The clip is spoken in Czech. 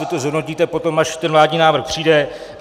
Vy to zhodnotíte potom, až ten vládní návrh přijde.